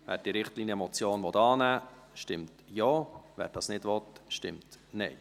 Wer diese Richtlinienmotion annehmen will, stimmt Ja, wer das nicht will, stimmt Nein.